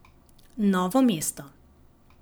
Novo mesto.